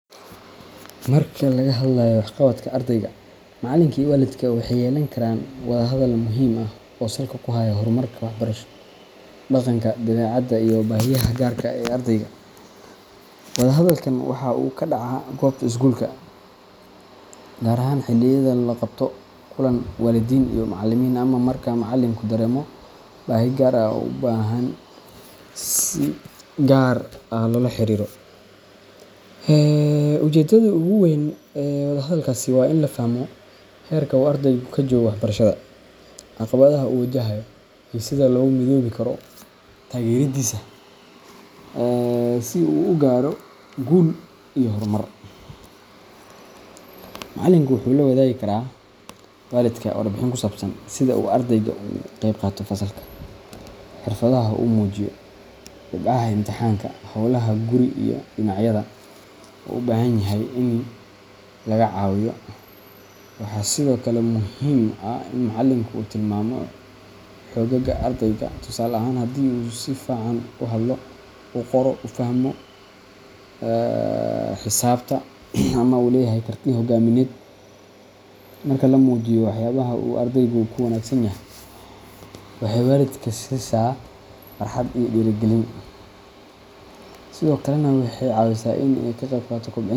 Marka laga hadlayo waxqabadka ardayga, macalinka iyo waalidka waxay yeelan karaan wada hadal muhiim ah oo salka ku haya horumarka waxbarasho, dhaqanka, dabeecadda iyo baahiyaha gaarka ah ee ardayga. Wada hadalkan waxa uu ka dhacaa goobta iskuulka, gaar ahaan xilliyada la qabto kulan waalidiin iyo macalimiin ama marka macalinku dareemo baahi gaar ah oo u baahan in si gaar ah loola xiriiro waalidka. Ujeedada ugu weyn ee wada hadalkaasi waa in la fahmo heerka uu ardaygu ka joogo waxbarashada, caqabadaha uu wajahayo, iyo sida loogu midoobi karo taageeradiisa si uu u gaaro guul iyo horumar. Macalinka wuxuu la wadaagi karaa waalidka warbixin ku saabsan sida uu ardaygu uga qeybqaato fasalka, xirfadaha uu muujiyo, dhibcaha imtixaannada, hawlaha guri, iyo dhinacyada uu u baahan yahay in laga caawiyo. Waxaa sidoo kale muhiim ah in macalinku tilmaamo xoogagga ardayga – tusaale ahaan haddii uu si fiican u hadlo, u qoro, u fahmo xisaabta ama uu leeyahay karti hoggaamineed. Marka la muujiyo waxyaabaha uu ardaygu ku wanaagsan yahay, waxay waalidka siisaa farxad iyo dhiirigelin, sidoo kalena waxay ka caawisaa in uu ka qeybqaato kobcinta.